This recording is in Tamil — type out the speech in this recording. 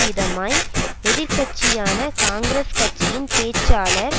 விதமாய் எதிர் கட்சியான காங்கிரஸ் கட்சியின் பேச்சாளர்